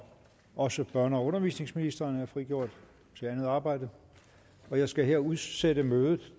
også børne og undervisningsministeren er frigjort til andet arbejde jeg skal her udsætte mødet